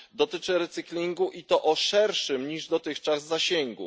Dotyczy recyklingu i to o szerszym niż dotychczas zasięgu.